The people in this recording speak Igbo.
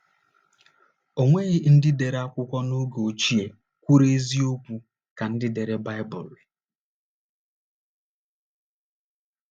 O nweghị ndị dere akwụkwọ n’oge ochie kwuru eziokwu ka ndị dere Baịbụl.